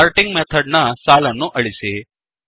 sorting method ನ ಸಾಲನ್ನು ಅಳಿಸಿ